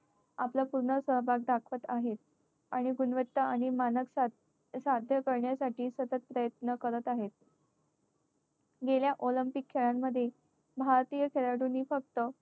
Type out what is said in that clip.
आपला पूर्ण सहभाग दाखवत आहेत. आणि गुणवत्ता आणि मानकता सध्या करण्यासाठी सतत प्रयत्न करत आहेत. गेल्या olympic खेळांमध्ये भारतीय खेळाडूंनी फक्त